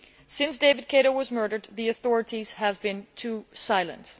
Since David Kato's murder, the authorities have been too silent.